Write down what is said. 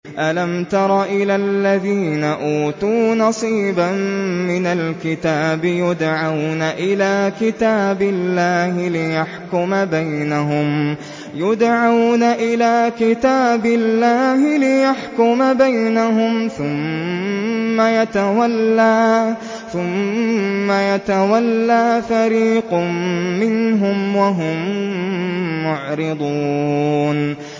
أَلَمْ تَرَ إِلَى الَّذِينَ أُوتُوا نَصِيبًا مِّنَ الْكِتَابِ يُدْعَوْنَ إِلَىٰ كِتَابِ اللَّهِ لِيَحْكُمَ بَيْنَهُمْ ثُمَّ يَتَوَلَّىٰ فَرِيقٌ مِّنْهُمْ وَهُم مُّعْرِضُونَ